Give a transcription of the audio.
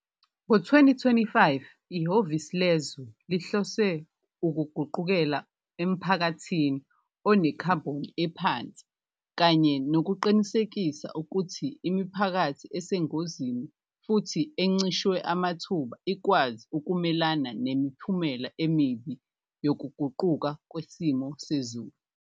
Ngo-2025, iHhovisi Lezwe lihlose kuguqukela emphakathini onekhabhoni ephansi kanye nokuqinisekisa kuthi imiphakathi esengozini futsi encishwe amathuba ikwazi kumelana nemiphumela emibi yokuguquguquka kwesimo sezulu.